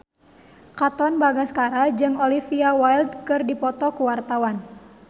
Katon Bagaskara jeung Olivia Wilde keur dipoto ku wartawan